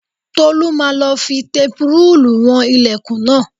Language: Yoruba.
Tolú máa lọ fi tẹpurúùlù wọn ilẹ̀kùn náà